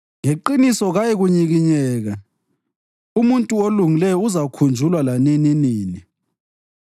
Ngeqiniso kayikunyikinyeka; umuntu olungileyo uzakhunjulwa lanininini.